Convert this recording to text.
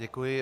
Děkuji.